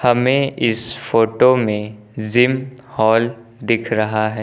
हमें इस फोटो में जिम हॉल दिख रहा है।